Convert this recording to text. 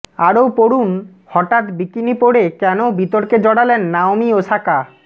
আরও পড়ুনঃহঠাৎ বিকিনি পড়ে কেনও বিতর্কে জড়ালেন নাওমি ওসাকা